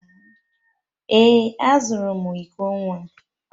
Ee, azụrụ m iko nwa